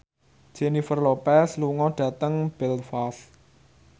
Jennifer Lopez lunga dhateng Belfast